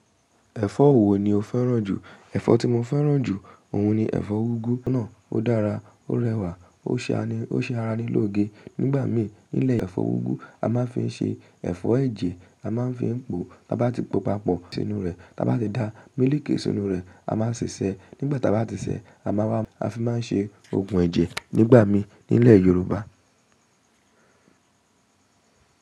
Ẹ̀fọ́ wo ni o fẹ́ràn jù? Ẹ̀fọ́ tí mo fẹ́ràn jù, òun ni ẹ̀fọ́ úgú náà. Ó dára, ó rẹwà, ó ṣe ara ní lóge. Nígbà mí nílo ẹ̀fọ́ úgú a máa ń fi ń ṣe ẹ̀fọ́ ẹ̀jẹ̀, a máa ń fi ń po. Ta bá ti po papọ̀ sínú rẹ̀, ta bá ti dá mílíkì sínú rẹ̀, a máa ṣi sẹ́. Nígbà tá bá ti ṣè, a máa wá, a fi máa ń ṣe oògùn ẹ̀jẹ̀ nígbà mí nílẹ̀ Yorùbá.